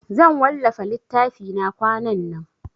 Zan wallafa littafina kwanan nan.